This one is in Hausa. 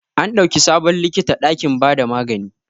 An dauki sabon likita dakin ba da magani.